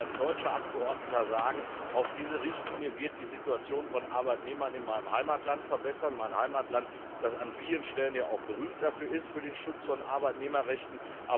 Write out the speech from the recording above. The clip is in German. Ich will als deutscher Abgeordneter auch sagen Auch diese Richtlinie wird die Situation von Arbeitnehmern in meinem Heimatland verbessern mein Heimatland, das an vielen Stellen ja berühmt ist für den Schutz von Arbeitnehmerrechten.